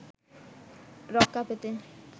রক্ষা পেতে